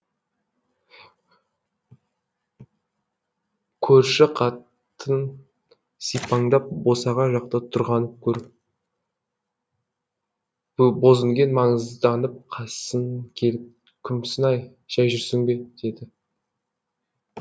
көрші қатын сипаңдап босағаға жақта тұрғанын көріп бозінген маңызданып қасын келіп күмсінай жәй жүрсің бе деді